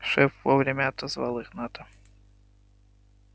шеф вовремя отозвал игната